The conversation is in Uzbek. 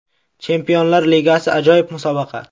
Chempionlar Ligasi ajoyib musobaqa.